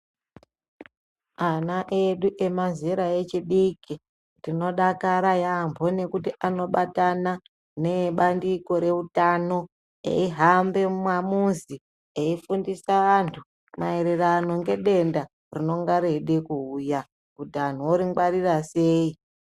Ana edu emazera echidiki tinodakara yaampo nekuti anobatana neabandiko reutano eihambe mumamizi eifundise anhu maererano ngedenda rinode kuuya kuti anhu ori ngwarira sei.